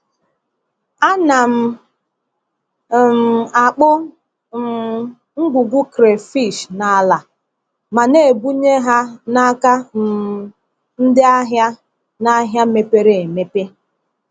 A na m um akpụ um ngwugwu crayfish n’ala ma na-ebunye ha n’aka um ndị ahịa n’ahịa mepere emepe.